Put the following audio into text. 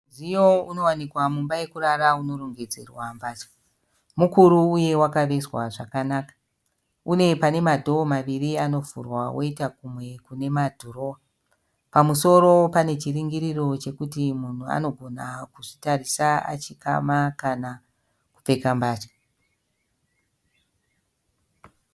Mudziyo unowanikwa mumba yekurara unorongedzerwa mbatya. Mukuru uye wakavezva zvakanaka. Une pane madhoo maviri anovhurwa woita kumwe kune madhirowa. Pamusoro pane chiringiriro chekuti munhu anogona kuzvitarisa achikama kana kupfeka mbatya.